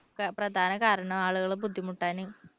പ്രധാന കാരണം ആളുകൾ ബുദ്ധിമുട്ടാന്